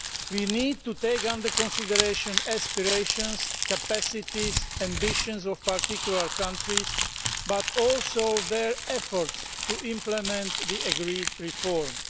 We need to take into consideration the aspirations, capacities and ambitions of particular countries but also their efforts in implementing the agreed reforms.